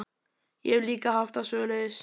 Ég hef líka haft það svoleiðis.